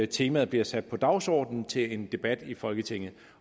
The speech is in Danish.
temaet bliver sat på dagsordenen til en debat i folketinget